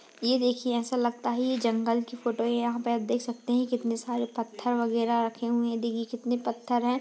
ये देखिये ऐसा लगता हैये जंगल की फ़ोटो है यहां पे आप देख सकते हैं कितने सारे पत्थर वगैरह रखे हुए हैं देखिये कितने पत्थर हैं ।